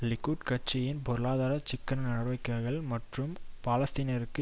Likud கட்சியின் பொருளாதார சிக்கன நடவடிக்கைகள் மற்றும் பாலஸ்தீனியருக்கு